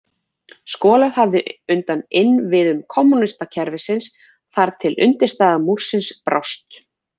Skolað hafði undan innviðum kommúníska kerfisins þar til undirstaða múrsins brást.